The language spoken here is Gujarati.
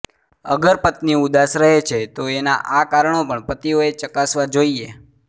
અગર પત્ની ઉદાસ રહે છે તો એનાં આ કારણો પણ પતિઓએ ચકાસવા જોઈએ